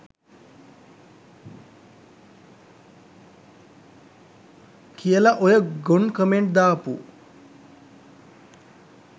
කියල ඔය ගොන් කමෙන්ඩ් දාපු